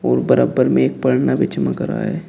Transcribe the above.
बराबर में एक भी चमक रहा है।